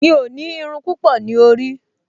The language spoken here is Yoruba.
Mi ò ní irun púpọ̀ ní orí